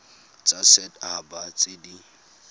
tsa set haba tse di